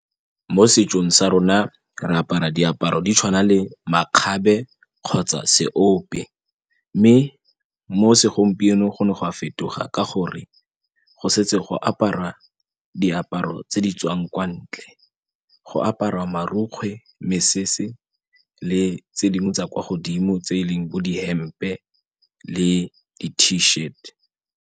Mo setsong sa rona re apara diaparo di tshwana le makgabe kgotsa seope mme mo segompieno go ne go a fetoga ka gore go setse go apara diaparo tse di tswang kwa ntle. Go aparwa marukgwe, mesese le tse dingwe tsa kwa godimo tse e leng bo dihempe le di-t shift.